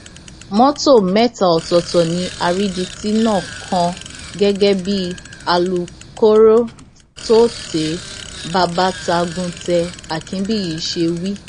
mọtò mẹta ọtọọtọ ni àrídìtì náà kàn gẹgẹ bí alūkkóró tôte babatagùntẹ àkínbíyí ṣe wí